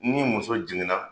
Ni muso jiginna